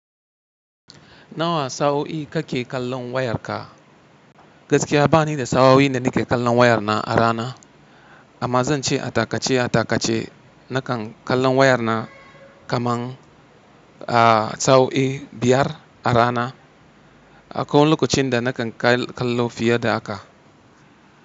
Nawa sa'o'i kake kallon wayarka? Gaskiya bani da sa'o'i da nike kallon wayar na a rana amma zan ce a takace a takace nakan kallon wayar na kaman a sa'o'i biyar a rana. Akwai wani lokacin da nakan kallo fiye da haka.